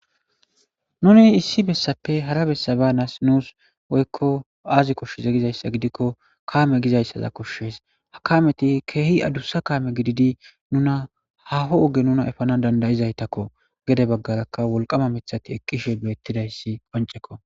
nuni issi bessappe hara bessaba nas nuus woykko aazi koshsheze gizayssa gidikko kaame gizayssaza koshshees hakameti keehi adussa kaame gididi nuna haho oge nuna efanan dandayizaytakko gede baggarakka wolqama mithati eqqishe beettidayssi qoncekko